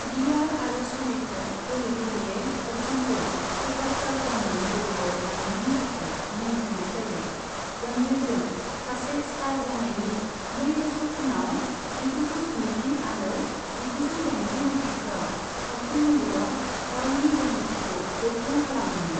दीवार आरो श'लेखौ गले गलेयै बच्चनखौ सुपारस्टारडमनि गोजौआव लांनायनि थाखाय मुं होनाय जायो, जन्जीरजों सासे स्टार जानायनि नै बोसोर उनाव जिगुजौ स्निजि आरो जिगुजौ दाइनजि माइथायफोराव सावथुन मुलुगाव गावनि गोहोमथिखौ गोख्रों खालामदोंमोन।